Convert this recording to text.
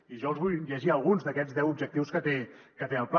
i jo els vull llegir alguns d’aquests deu objectius que té el pla